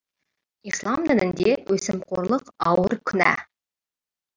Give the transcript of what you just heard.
ислам дінінде өсімқорлық ауыр күнә